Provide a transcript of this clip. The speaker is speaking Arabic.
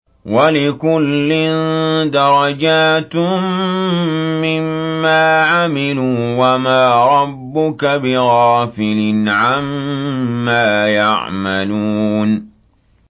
وَلِكُلٍّ دَرَجَاتٌ مِّمَّا عَمِلُوا ۚ وَمَا رَبُّكَ بِغَافِلٍ عَمَّا يَعْمَلُونَ